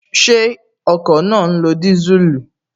Ṣé ọkọ̀ náà ń lo disuulu?